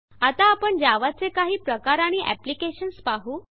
आता आपण जावा चे काही प्रकार आणि एप्लिकेशन्स पाहु